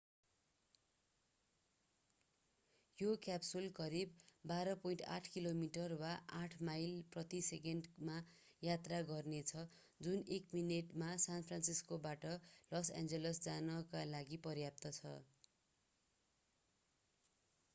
यो क्याप्सुलले करिब 12.8 किलोमिटर वा 8 माइल प्रति सेकेण्डमा यात्रा गर्नेछ जुन एक मिनेटमा सान फ्रान्सिस्कोबाट लस एन्जल्स जानका लागि पर्याप्त छ